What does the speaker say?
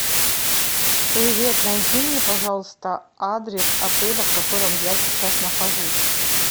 привет найди мне пожалуйста адрес отеля в котором я сейчас нахожусь